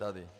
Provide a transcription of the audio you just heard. Tady.